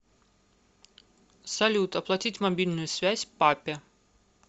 салют оплатить мобильную связь папе